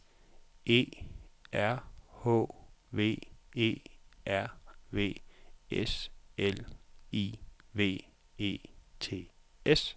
E R H V E R V S L I V E T S